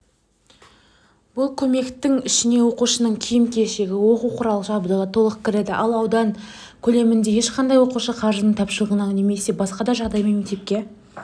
бұл көмектің ішіне оқушының киім-кешегі оқу-құрал жабдығы толық кіреді ал аудан көлемінде ешқандай оқушы қаржының тапшылығынан немесе басқа да жағдаймен мектепке